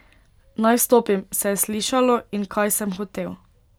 Naj vstopim, se je slišalo in kaj sem hotel.